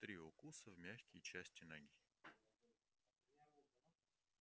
три укуса в мягкие части ноги